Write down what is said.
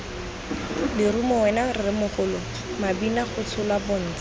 lerumo wena rremogolo mabinagotsholwa bontsha